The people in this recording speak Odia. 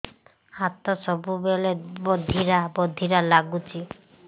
ହାତ ସବୁବେଳେ ବଧିରା ବଧିରା ଲାଗୁଚି